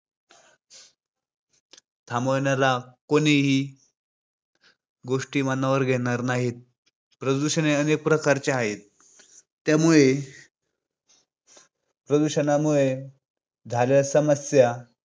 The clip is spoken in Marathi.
थांबवण्याला कोणीही गोष्टी मनावर घेणार नाहीत. प्रदूषण हे अनेक प्रकारचे आहे. त्यामुळे प्रदूषणामुळे झालेल्या समस्या